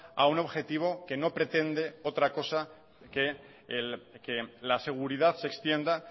a un objetivo que no pretende otra cosa que la seguridad se extienda